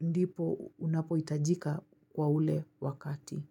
ndipo unapohitajika kwa ule wakati.